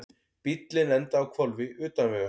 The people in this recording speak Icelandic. Bíllinn endaði á hvolfi utan vegar